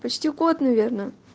почти год наверное